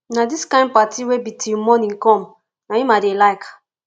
na dis kin party wey be till morning come na im i dey like